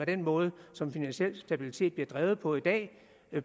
den måde som finansiel stabilitet bliver drevet på i dag